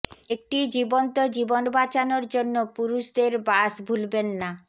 একটি জীবন্ত জীবন বাঁচানোর জন্য পুরুষদের বাস ভুলবেন না